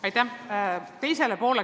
Aitäh!